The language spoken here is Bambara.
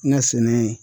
N ka sɛnɛ